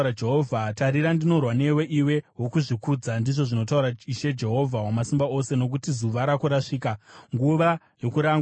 “Tarira, ndinorwa newe, iwe wokuzvikudza,” ndizvo zvinotaura Ishe Jehovha Wamasimba Ose, “nokuti zuva rako rasvika, nguva yokurangwa kwako.